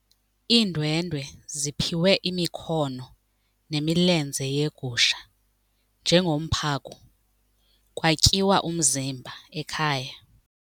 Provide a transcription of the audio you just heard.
Iindwendwe ziphiwe imikhono nemilenze yegusha njengomphako kwatyiwa umzimba ekhaya.